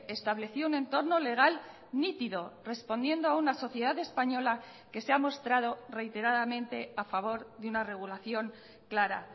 estableció un entorno legal nítido respondiendo a una sociedad española que se ha mostrado reiteradamente a favor de una regulación clara